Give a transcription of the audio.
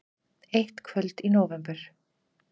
Eitt kvöld í nóvember.